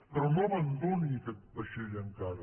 però no abandoni aquest vaixell encara